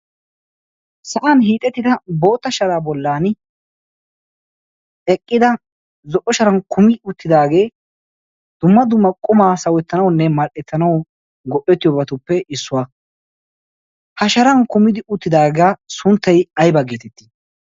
sa'an hiixettida bootta sharaa bollan eqqida zo'o sharan kumi uttidaagee dumma duma qumaa sawettanaunne mal'ettanau go'ettiyoogatuppe issuwaa ha sharan kumidi uttidaagaa sunttai ay baggetettii?